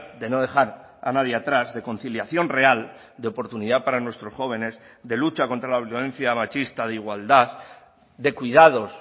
de no dejar a nadie atrás de conciliación real de oportunidad para nuestros jóvenes de lucha contra la violencia machista de igualdad de cuidados